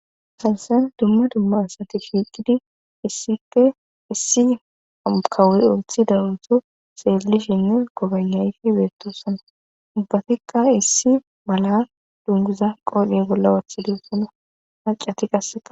hansan dumma dumma asati fiiqidi issikke issi akawuri ooththi darutu seellishinne gobannayi beettosana ubbatikka issi mala dunguza qoodhi bolla wooththidusana haccati qasseta